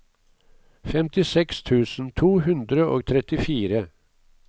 femtiseks tusen to hundre og trettifire